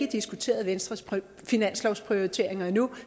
diskuteret venstres finanslovsprioriteringer endnu